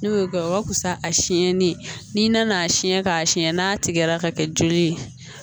N'o ye gawo ka fisa a siɲɛnni ye n'i nan'a siyɛn k'a siyɛn n'a tigɛra ka kɛ joli ye